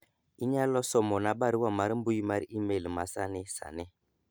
inyalo somo na barua mar mbui mar email masani sani